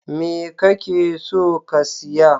Me kake so ka siya?